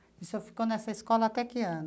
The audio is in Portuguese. E o senhor ficou nessa escola até que ano?